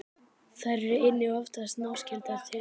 Þær eru einnig oftast náskyldar tegundum með lægri kjörhita.